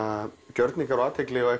gjörningar og athygli og